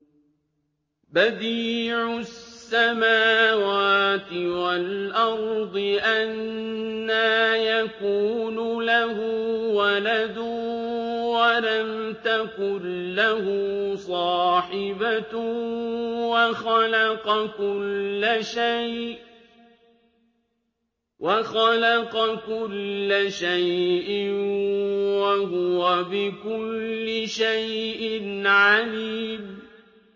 بَدِيعُ السَّمَاوَاتِ وَالْأَرْضِ ۖ أَنَّىٰ يَكُونُ لَهُ وَلَدٌ وَلَمْ تَكُن لَّهُ صَاحِبَةٌ ۖ وَخَلَقَ كُلَّ شَيْءٍ ۖ وَهُوَ بِكُلِّ شَيْءٍ عَلِيمٌ